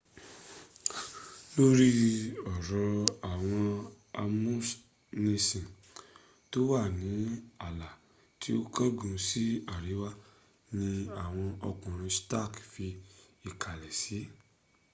lórí ọ̀rọ̀ àwọn amúnisìn tó wà ní ààlà tí ó kángun ní àríwá ni àwọn ọkùnrin stark fi ìkàlẹ̀ s